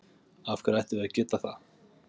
Af hverju ættum við að geta það?